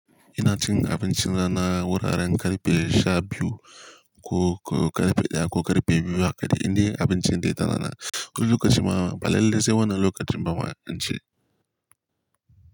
Ina cin abincin rana wuraren karfe sha biyu ko karfe daya ko karfe biyu haka dai. Indai abincin dai da rana. Wani lokacin ma ba lalallai sai wannan lokacin ba ma in ci.